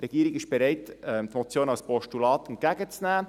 Die Regierung ist bereit, die Motion als Postulat entgegenzunehmen.